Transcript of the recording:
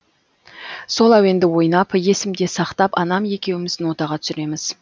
сол әуенді ойнап есімде сақтап анам екеуіміз нотаға түсіреміз